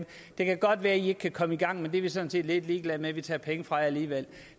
det kan godt være at i ikke kan komme i gang men det er vi sådan set lidt ligeglade med vi tager penge fra jer alligevel